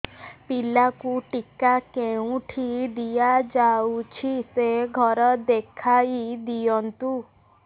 ପିଲାକୁ ଟିକା କେଉଁଠି ଦିଆଯାଉଛି ସେ ଘର ଦେଖାଇ ଦିଅନ୍ତୁ